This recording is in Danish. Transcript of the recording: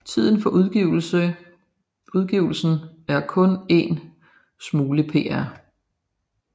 Titlen på udgivelsen er Kun 1 Smule Pr